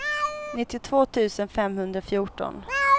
nittiotvå tusen femhundrafjorton